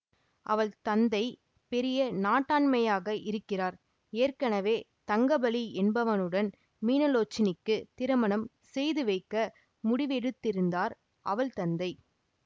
அவள் தந்தை பெரிய நாட்டாண்மையாக இருக்கிறார் ஏற்கனவே தங்கபலி என்பவனுடன் மீனலோச்சனிக்கு திருமணம் செய்துவைக்க முடிவெடுத்திருந்தார் அவள் தந்தை